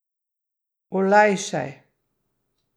Olajšaj.